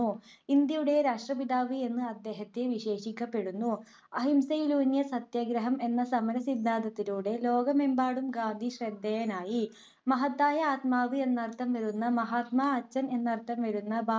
ഇന്ത്യയുടെ രാഷ്ട്രപിതാവ് എന്ന് അദ്ദേഹത്തെ വിശേഷിപ്പിക്കപ്പെടുന്നു. അഹിംസയിലൂന്നിയ സത്യാഗ്രഹം എന്ന സമര സിദ്ധാന്തത്തിലൂടെ ലോകമെമ്പാടും ഗാന്ധി ശ്രദ്ധേയനായി. മഹത്തായ ആത്മാവ് എന്നർത്ഥം വരുന്ന മഹാത്മാ, അച്ഛൻ എന്നർത്ഥംവരുന്ന